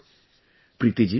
Ji thank you Sir